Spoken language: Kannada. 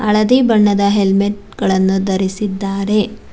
ಹಳದಿ ಬಣ್ಣದ ಹೆಲ್ಮೆಟ್ ಗಳನ್ನು ಧರಿಸಿದ್ದಾರೆ.